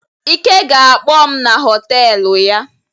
Ike ga-akpọọ m na họtelụ ya.